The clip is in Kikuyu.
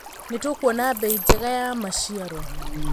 Nĩtũkuona mbei njega ya maciaro.